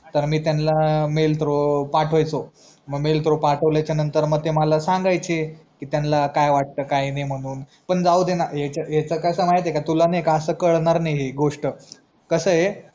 तर मी त्यांला मेल पाठवायचो मेल पाठवल्याचा नंतर मग मला ते सांगायचे कि त्यांला काय वाटत काय नाही म्हणून पण जाऊदेना यांच्यात कसा म्हायतिह्यना तुला मी असा कळणार नाही गोष्ट कस हे